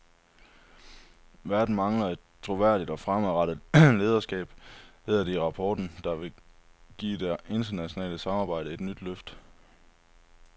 Verden mangler et troværdigt og fremadrettet lederskab, hedder det i rapporten, der vil give det internationale samarbejde et nyt løft.